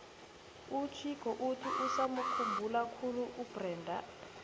uchicco uthi usamukhumbula khulu ubrenda